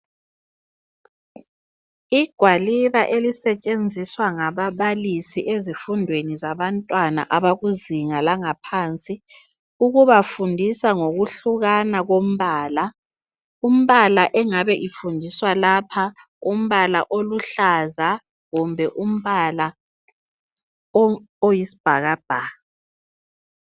Igwaliba elisetshenziswa ngababalisi ezifundweni zabantwana abakuzinga langaphansi. Ukubafundisa ngokuhlukana kombala. Umbala engabe ifundiswa lapha, umbala oluhlaza kumbe umbala oyisibhakabhaka.